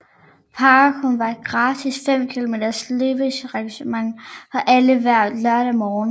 parkrun er et gratis fem kilometer løbearrangement for alle hver lørdag morgen